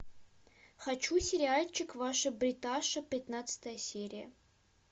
хочу сериальчик ваша бриташа пятнадцатая серия